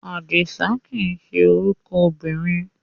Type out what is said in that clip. Àdìsá kìí ṣe orúkọ obìnrin.